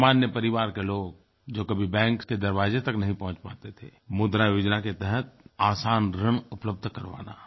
सामान्य परिवार के लोग जो कभी बैंक के दरवाज़े तक नहीं पहुँच पाते थे मुद्रा योजना के तहत आसान ऋण उपलब्ध करवाना